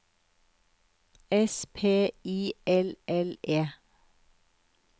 S P I L L E